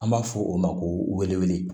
An b'a fɔ o ma ko welewele